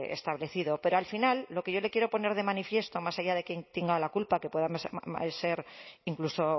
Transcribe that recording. establecido pero al final lo que yo le quiero poner de manifiesto más allá de quién tenga la culpa que puede ser incluso